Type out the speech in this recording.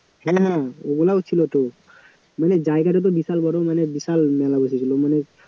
হ্যাঁ ওগুলাও ছিল তো মানে জায়গাটা তো বিশাল বড় মানে বিশাল মেলা বসেছিল মানে